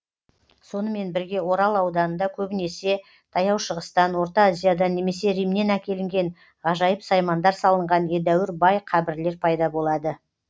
сонымен бірге орал ауданында көбінесе таяу шығыстан орта азиядан немесе римнен әкелінген ғажайып саймандар салынған едәуір бай қабірлер пайда болады